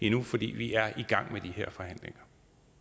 endnu fordi vi er i gang med de her forhandlinger